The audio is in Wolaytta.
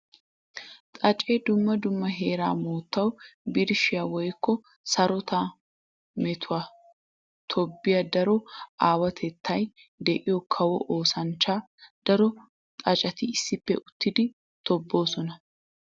Xaace dumma dumma heera metuwa birshshiya woykko sarotetta metuwa tobbiya daro aawatettay de'iyo kawo oosanchcha. Daro xaacetti issippe uttiddi tobboosonna.